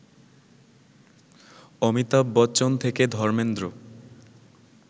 অমিতাভ বচ্চন থেকে ধর্মেন্দ্র